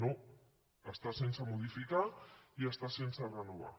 no està sense modificar i està sense renovar